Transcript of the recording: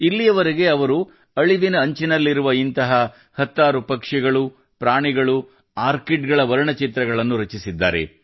ಇಲ್ಲಿಯವರೆಗೆ ಅವರು ಅಳಿವಿನ ಅಂಚಿನಲ್ಲಿರುವ ಇಂತಹ ಹತ್ತಾರು ಪಕ್ಷಿಗಳು ಪ್ರಾಣಿಗಳು ಆರ್ಕಿಡ್ಗಳ ವರ್ಣಚಿತ್ರಗಳನ್ನು ರಚಿಸಿದ್ದಾರೆ